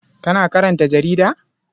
Kana karanta jarida?